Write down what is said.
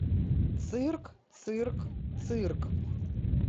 цирк цирк цирк